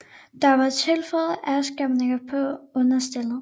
Der var tilføjet afskærmninger på understellet